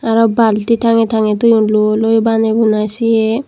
aro bulti tangey tangey thoyun lw loi baney buniy siyan.